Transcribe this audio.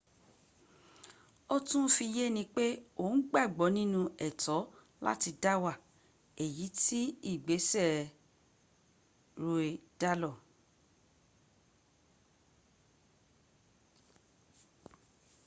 ó tún fi yé ni pé òun gbàgbọ́ ninú ẹ̀tọ́ láti dáwà èyí tí ìgbésẹ̀ roe dálór